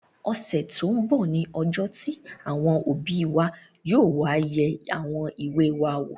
Ọ̀sẹ̀ tó n bọ̀ ní ọjọ́ tí àwọn òbí wa yóò wá yẹ àwọn ìwé wa wò